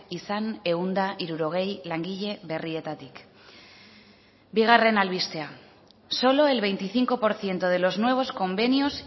izan ehun eta hirurogei langile berrietatik bigarren albistea solo el veinticinco por ciento de los nuevos convenios